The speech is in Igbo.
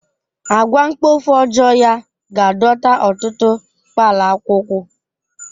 Àgwà mkpofu ọjọọ ya ga-adọta ọtụtụ kpalakwukwu.